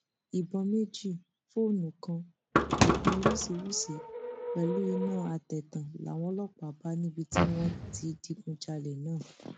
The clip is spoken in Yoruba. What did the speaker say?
ìbọn méjì fóònù kan oògùn oríṣiríṣiì pẹlú iná àtẹtàn làwọn ọlọpàá bá níbi tí wọn ti digunjalè náà